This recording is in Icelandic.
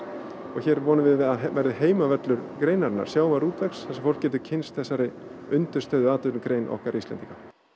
hér vonum við að verði heimavöllur greinarinnar sjávarútvegs þar sem fólk getur kynnst þessari undirstöðuatvinnugrein okkar Íslendinga